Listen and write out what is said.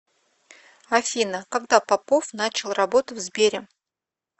афина когда попов начал работу в сбере